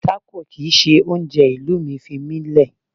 Tacos isn't my food, leave me alone.